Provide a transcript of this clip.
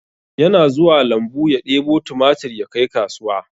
Yana zuwa lambu ya ɗebo tumatur yakai kasuwa